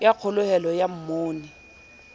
ya kgoholeho ya monu ii